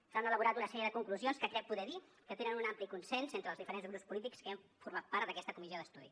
s’han elaborat una sèrie de conclusions que crec poder dir que tenen un ampli consens entre els diferents grups polítics que hem format part d’aquesta comissió d’estudi